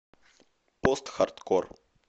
постхардкор